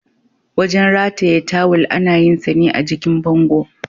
Wajen rataye tawil ana yinsa ne a jikin bango.